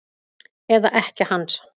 Eða ekkja hans?